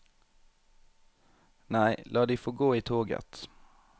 Nei, la de få gå i toget.